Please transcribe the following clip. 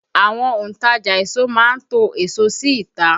Àwọn òntajà èso má ń to èso sí ìta